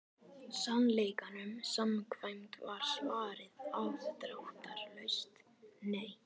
Sannleikanum samkvæmt var svarið afdráttarlaust nei.